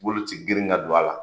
Bolo tɛ girin ka don a la